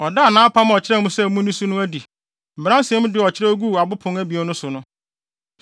Ɔdaa nʼapam a ɔkyerɛɛ mo sɛ munni so no adi; Mmaransɛm du a ɔkyerɛw guu abo pon abien so no.